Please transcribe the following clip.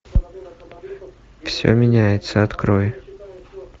все меняется открой